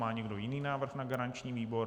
Má někdo jiný návrh na garanční výbor?